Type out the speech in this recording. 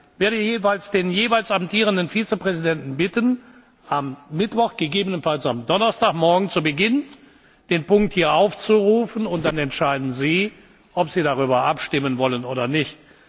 nicht. Ich werde den jeweils amtierenden Vizepräsidenten bitten, den Punkt am Mittwoch, gegebenenfalls am Donnerstagmorgen zu Beginn hier aufzurufen, und dann entscheiden Sie, ob Sie darüber abstimmen wollen oder